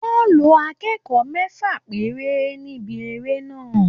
Wọ́n lo akẹ́kọ̀ọ́ mẹ́fà péré níbi eré náà